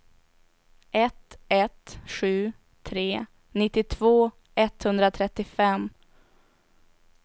ett ett sju tre nittiotvå etthundratrettiofem